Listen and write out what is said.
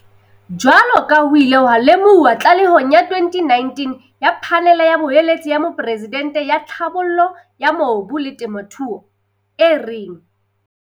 Jwaloka ha ho ile ha lemohuwa tlalehong ya 2019 ya Phanele ya Boeletsi ya Moporesidente ya Tlhabollo ya Mobu le Temothuo, e reng